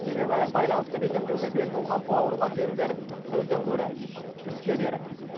себебі байланысты бекемдеуге бел буған бауырлас елдер сөзден гөрі іске берік